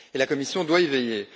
Et la Commission doit y veiller.